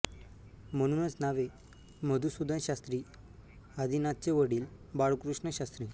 म्हणूनच नावे मधुसूदन शास्त्री आदिनाथचे वडील बाळकृष्ण शास्त्री